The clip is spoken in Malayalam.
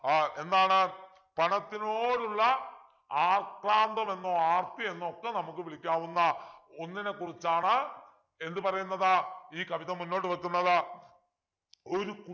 ആഹ് എന്താണ് പണത്തിനോടുള്ള ആക്രാന്തമെന്നോ ആർത്തിയെന്നോ ഒക്കെ നമുക്ക് വിളിക്കാവുന്ന ഒന്നിനെക്കുറിച്ചാണ് എന്ത് പറയുന്നത് ഈ കവിത മുന്നോട്ട് വെക്കുന്നത് ഒരു